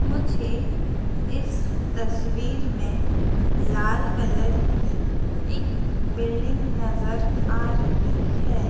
मुझे इस तस्वीर में लाल कलर की एक बिल्डिंग नजर आ रही है।